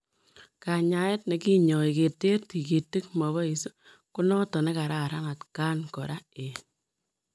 Kanyaet nekinyoi keteer tigitik mapois konotok nekararan atkaan koraa eng